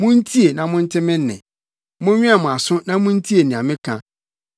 Muntie na monte me nne; monwɛn mo aso na muntie nea meka.